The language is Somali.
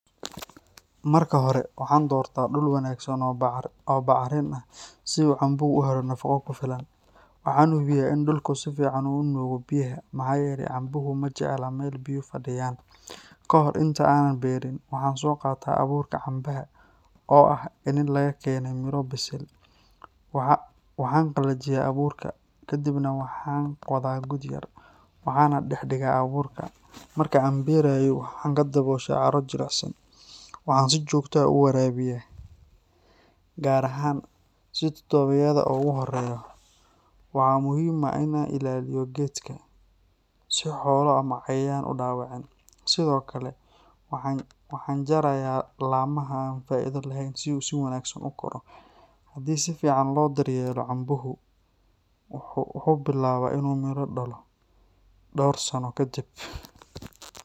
Marka hore, waxaan doortaa dhul wanaagsan oo bacrin ah, si uu cambuhu u helo nafaqo ku filan. Waxaan hubiyaa in dhulku si fiican u nuugo biyaha, maxaa yeelay cambuhu ma jecla meel biyo fadhiyaan. Ka hor inta aanan beerin, waxaan soo qaataa abuurka cambaha, oo ah iniin laga keenay miro bisil. Waxaan qalajiyaa abuurka, ka dibna waxaan qodaa god yar, waxaana dhex dhigaa abuurka. Marka aan beerayo, waxaan ku dabooshaa carro jilicsan. Waxaan si joogto ah u waraabiyaa, gaar ahaan toddobaadyada ugu horreeya. Waxaa muhiim ah in aan ilaaliyo geedka, si xoolo ama cayayaan u dhaawicin. Sidoo kale, waxaan jarayaa laamaha aan faa’iido lahayn si uu si wanaagsan u koro. Haddii si fiican loo daryeelo, cambuhu wuxuu bilaabaa inuu miro dhalo dhowr sano kadib.